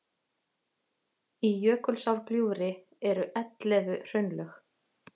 í jökulsárgljúfri eru ellefu hraunlög